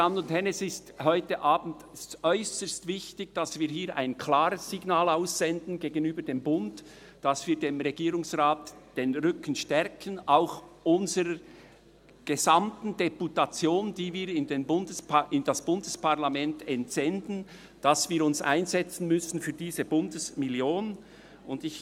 Es ist heute Abend sehr wichtig, dass wir hier ein klares Signal gegenüber dem Bund aussenden, dass wir dem Regierungsrat und auch unserer gesamten Deputation, die wir in das Bundesparlament entsenden, den Rücken stärken, dass wir uns für diese Bundesmillion einsetzen müssen.